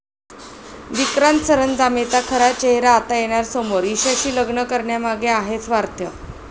विक्रांत सरंजामेचा खरा चेहरा आता येणार समोर, ईशाशी लग्न करण्यामागे आहे स्वार्थ